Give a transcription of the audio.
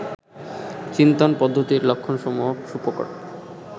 চিন্তন পদ্ধতির লক্ষণসমূহ সুপ্রকট